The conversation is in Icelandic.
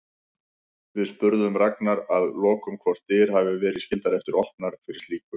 Við spurðum Ragnar að lokum hvort dyr hafi verið skyldar eftir opnar fyrir slíku?